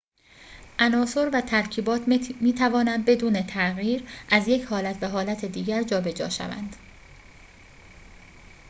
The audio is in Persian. عناصر و ترکیبات می‌توانند بدون تغییر از یک حالت به حالت دیگر جابجا شوند